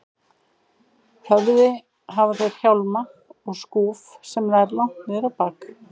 höfði hafa þeir hjálma og skúf sem nær langt niður á bak.